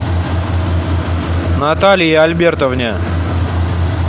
наталье альбертовне